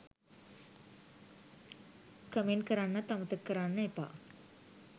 Comment කරන්නත් අමතක කරන්න එපා.